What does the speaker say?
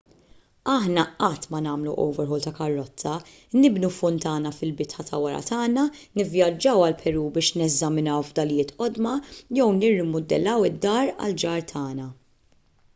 aħna qatt ma nagħmlu overhaul ta' karozza nibnu funtana fil-bitħa ta' wara tagħna nivvjaġġaw għall-peru biex neżaminaw fdalijiet qodma jew nirrimudellaw id-dar tal-ġar tagħna